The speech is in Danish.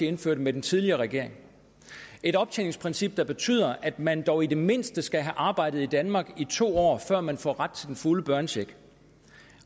indførte med den tidligere regering et optjeningsprincip der betyder at man dog i det mindste skal have arbejdet i danmark i to år før man får ret til den fulde børnecheck